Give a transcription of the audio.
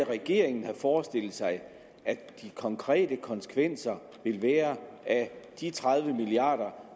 regeringen har forestillet sig at de konkrete konsekvenser vil være af de tredive milliard